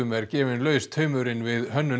er gefinn laus taumurinn við hönnun